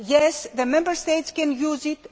yes, the Member States can use